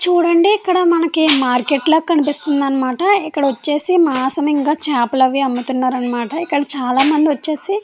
చూడండి మనకే ఇక్కడ మార్కెట్ లాగా కనిపిస్తుంది అనమాట. ఎక్కడ వచ్చేసి మాంసం చేపలు అమ్ముతున్నారన్నమాట. కంచాల మందు వచ్చేసి --